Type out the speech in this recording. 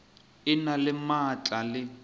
e na le maatla le